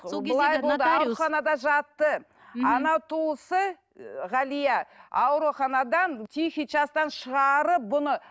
ауруханада жатты анау туысы ы галия ауруханадан тихий частан шығарып бұны